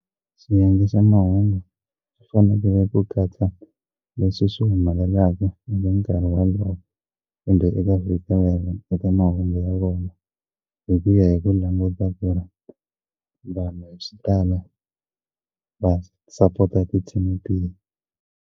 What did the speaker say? Swiendlisa mahungu swi fanelele ku katsa leswi swi humelelaka eka nkarhi walowo kumbe eka viki rerho eka mahungu ya vona hi ku ya hi ku languta ku ri vanhu hi xitalo va sapota ti-team tihi.